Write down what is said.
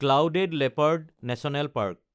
clouded leopard national park